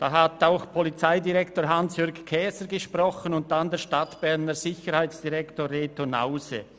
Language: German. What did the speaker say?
Dort hat auch unser Polizeidirektor Käser gesprochen und der Stadtberner Sicherheitsdirektor, Reto Hause.